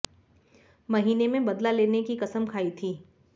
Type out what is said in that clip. महीने में बदला लेने की कसम खाई थी